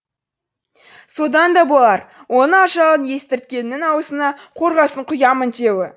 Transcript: содан да болар оның ажалын естірткеннің аузына қорғасын құямын деуі